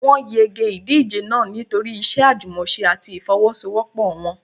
Wọ́n yege ìdíje náà nítorí iṣẹ́ àjùmọ̀ṣe àti ìfọ́wọ́sọwọ́pọ̀ wọn.